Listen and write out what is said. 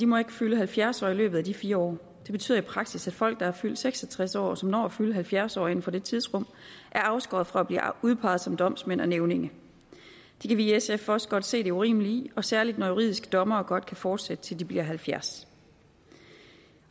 må fylde halvfjerds år i løbet af de fire år det betyder i praksis at folk der er fyldt seks og tres år og som når at fylde halvfjerds år inden for det tidsrum er afskåret fra at blive udpeget som domsmænd og nævninge det kan vi i sf også godt se det urimelige i og særlig når juridiske dommere godt kan fortsætte til de bliver halvfjerds